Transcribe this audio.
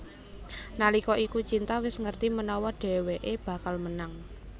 Nalika iku Cinta wis ngerti menawa dheweké bakal menang